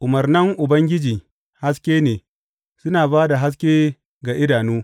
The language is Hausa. Umarnan Ubangiji haske ne suna ba da haske ga idanu.